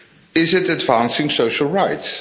Is it advancing social rights?